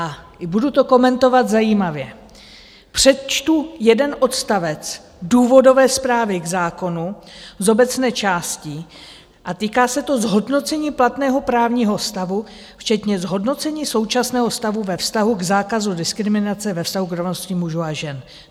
A budu to komentovat zajímavě, přečtu jeden odstavec důvodové zprávy k zákonu z obecné části a týká se to zhodnocení platného právního stavu včetně zhodnocení současného stavu ve vztahu k zákazu diskriminace ve vztahu k rovnosti mužů a žen.